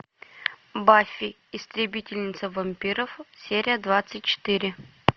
баффи истребительница вампиров серия двадцать четыре